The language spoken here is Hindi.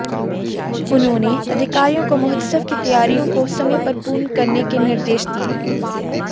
उन्होंने अधिकारियों को महोत्सव की तैयारियों को समय पर पूर्ण करने के निर्देश दिए